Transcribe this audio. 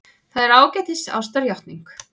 Það er ágætis ástarjátning.